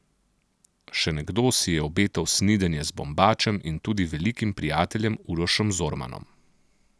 Še nekdo si je obetal snidenje z Bombačem in tudi velikim prijateljem Urošem Zormanom.